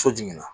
So jigin na